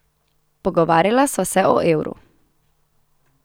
Pogovarjala sva se o evru.